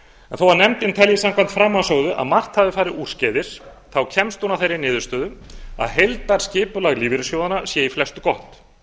þó að nefndin telji samkvæmt framansögðu að margt hafi farið úrskeiðis þá kemst hún að þeirri niðurstöðu að heildarskipulag lífeyrissjóðanna sé í flestu gott